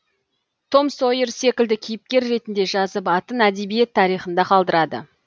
том сойер секілді кейіпкер ретінді жазып атын әдебиет тарихында қалдырады